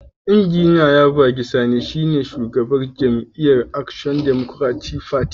Injiniya Yabagi Sani shine shugaban jam'iyyar Action Democratic Party.